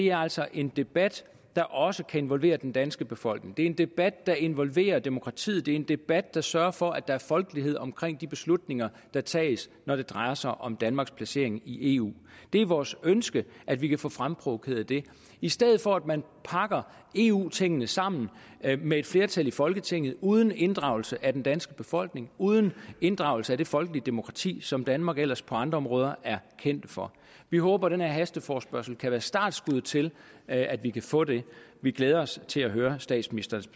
er altså en debat der også kan involvere den danske befolkning det er en debat der involverer demokratiet det er en debat der sørger for at der er folkelighed omkring de beslutninger der tages når det drejer sig om danmarks placering i eu det er vores ønske at vi kan få fremprovokeret det i stedet for at man pakker eu tingene sammen med et flertal i folketinget uden inddragelse af den danske befolkning uden inddragelse af det folkelige demokrati som danmark ellers på andre områder er kendt for vi håber den her hasteforespørgsel kan være startskuddet til at vi kan få det vi glæder os til at høre statsministerens